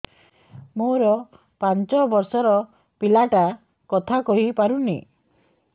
ମୋର ପାଞ୍ଚ ଵର୍ଷ ର ପିଲା ଟା କଥା କହି ପାରୁନି